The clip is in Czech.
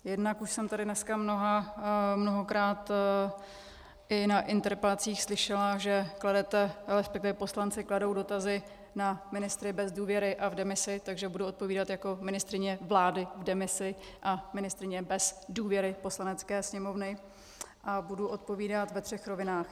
Jednak už jsem tady dneska mnohokrát i na interpelacích slyšela, že kladete, respektive poslanci kladou dotazy na ministry bez důvěry a v demisi, takže budu odpovídat jako ministryně vlády v demisi a ministryně bez důvěry Poslanecké sněmovny a budu odpovídat ve třech rovinách.